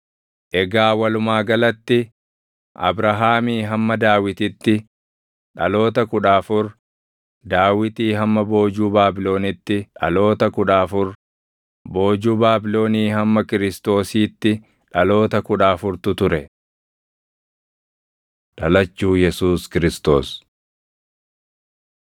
Egaa walumaa galatti Abrahaamii hamma Daawititti dhaloota kudha afur, Daawitii hamma boojuu Baabilonitti dhaloota kudha afur, boojuu Baabilonii hamma Kiristoosiitti dhaloota kudha afurtu ture. Dhalachuu Yesuus Kiristoos